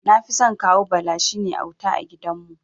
Nafison Kawu Bala, shine auta a gidan.